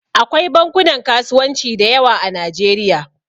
Akwai bankunan kasuwanci da yawa a Najeriya.